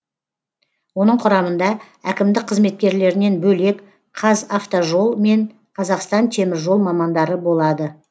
оның құрамында әкімдік қызметкерлерінен бөлек қазавтожол мен қазақстан теміржол мамандары болады